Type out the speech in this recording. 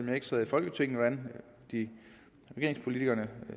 jeg ikke sad i folketinget hvordan regeringspolitikerne